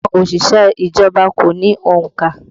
Àwọn òṣìṣẹ́ ìjọba kò ní òǹkà